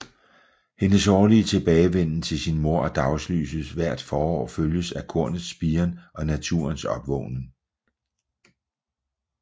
Hendes årlige tilbagevenden til sin mor og dagslyset hvert forår følges af kornets spiren og naturens opvågnen